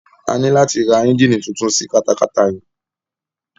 A ní láti ra ẹ́ngíìnì tuntun sí katakata yìí.